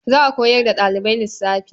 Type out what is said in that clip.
Za a koyar da ɗalibai lissafi.